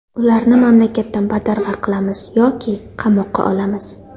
Ularni mamlakatdan badarg‘a qilamiz yoki qamoqqa olamiz.